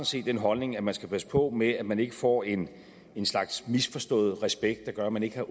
set den holdning at man skal passe på med at man ikke får en en slags misforstået respekt der gør at man ikke